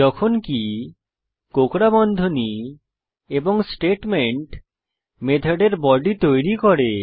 যখনকি কোঁকড়া বন্ধনী এবং স্টেটমেন্ট মেথডের বডি তৈরী করে